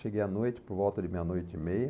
Cheguei à noite, por volta de meia-noite e meia.